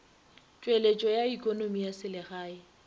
tšweletšo ya ekonomi ya selegae